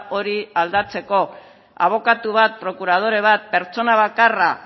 hori aldatzeko abokatu bat prokuradore bat pertsona bakarra